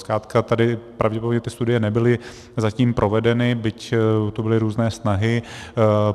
Zkrátka tady pravděpodobně ty studie nebyly zatím provedeny, byť tu byly různé snahy.